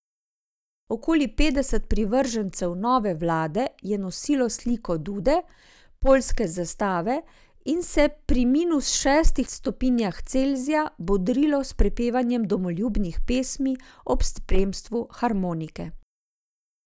Okoli petdeset privržencev nove vlade je nosilo slike Dude, poljske zastave in se pri minus šestih stopinjah Celzija bodrilo s prepevanjem domoljubnih pesmi ob spremstvu harmonike.